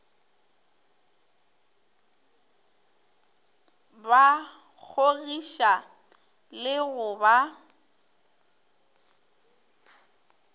ba kgogiša le go ba